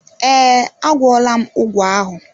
Ee, a gwọọla m ụgwọ ahụ.